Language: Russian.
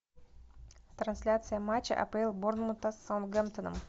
трансляция матча апл борнмута с саутгемптоном